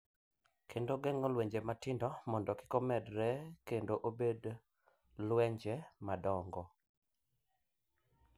Kendo geng’o lwenje matindo mondo kik omedore kendo obed lwenje madongo.